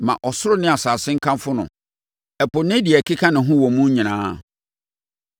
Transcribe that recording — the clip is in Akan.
Ma ɔsoro ne asase nkamfo no, ɛpo ne deɛ ɛkeka ne ho wɔ mu nyinaa,